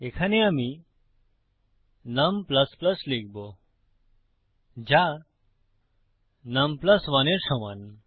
এখানে আমি নুম লিখবো যা নুম 1 এর সমান